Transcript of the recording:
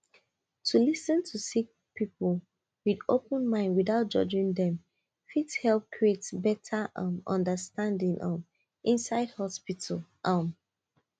to lis ten to sick people with open mind without judging them fit help create better um understanding um inside hospital um